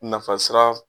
Nafa sira